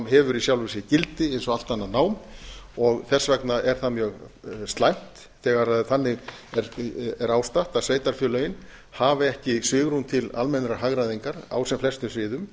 hefur í sjálfu sér gildi eins og allt annað nám þess vegna er það mjög slæmt þegar þannig er ástatt að sveitarfélögin hafi ekki svigrúm til almennrar hagræðingar á sem flestum sviðum